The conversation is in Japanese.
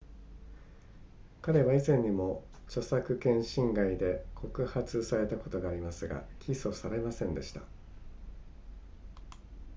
彼は以前にも著作権侵害で告発されたことがありますが起訴されませんでした